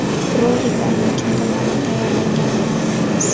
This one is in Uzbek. Rolik aynan kim tomonidan tayyorlangani ma’lum emas.